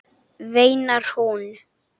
veinar hún.